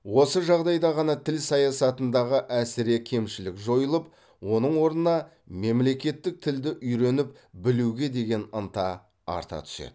осы жағдайда ғана тіл саясатындағы әсіре кемшілік жойылып оның орнына мемлекеттік тілді үйреніп білуге деген ынта арта түседі